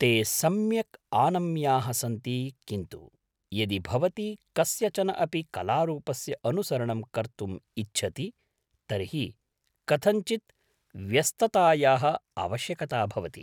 ते सम्यक् आनम्याः सन्ति किन्तु यदि भवती कस्यचन अपि कलारूपस्य अनुसरणं कर्तुम् इच्छति तर्हि कथञ्चित् व्यस्ततायाः आवश्यकता भवति।